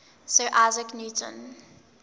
sir isaac newton